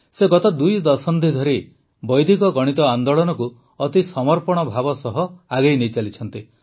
ସେ ଗତ ଦୁଇ ଦଶନ୍ଧି ଧରି ବୈଦିକ ଗଣିତ ଆନ୍ଦୋଳନକୁ ଅତି ସମର୍ପଣ ଭାବ ସହ ଆଗେଇ ନେଇଚାଲିଛନ୍ତି